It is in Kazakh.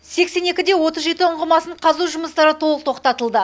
сексен екі де отыз жеті ұңғымасын қазу жұмыстары толық тоқтатылды